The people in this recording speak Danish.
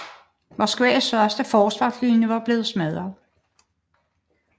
Moskvas første forsvarslinje var blevet smadret